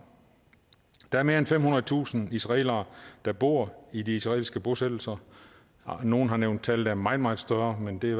der er mere end femhundredetusind israelere der bor i de israelske bosættelser nogle har nævnt tal der er meget meget større men det